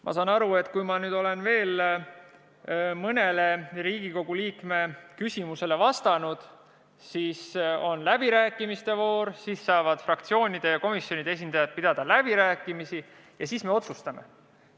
Ma saan aru nii, et kui ma nüüd olen veel mõnele Riigikogu liikme küsimusele vastanud, siis on läbirääkimiste voor, kus fraktsioonide ja komisjonide esindajad saavad pidada läbirääkimisi, ja siis me otsustame.